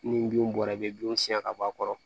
Ni bin bɔra i be binw siɲɛ ka bɔ a kɔrɔ